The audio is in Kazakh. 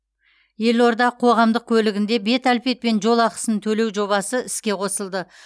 елорда қоғамдық көлігінде бет әлпетпен жол ақысын төлеу жобасы іске қосылды